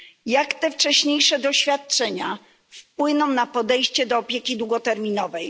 Jak te wcześniejsze doświadczenia wpłyną na podejście do opieki długoterminowej?